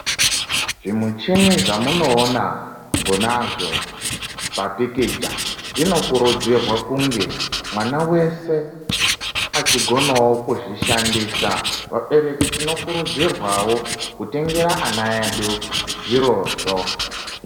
Zvimichini zvamunoona konazvo pamapikicha, zvinokurudzirwa kunge mwana wese achigonawo kuzvishandisa. Vabereki tinokurudzirwawo kutengera ana edu zvirozvo.